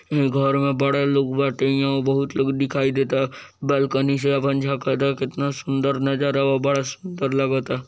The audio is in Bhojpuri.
घर में बड़ा लोग बाटे इहों बहुत लोग दिखाई देता बालकनी से अपन झाकता कितना सुंदर नजर आबता बड़ा सुंदर लागता।